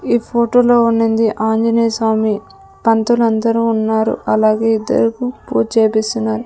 ఈ ఫోటోలో ఉంనింది ఆంజనేయస్వామి పంతులు అందరు ఉన్నారు అలాగే ఇద్దరుకు పూజ చేపిస్తున్నారు.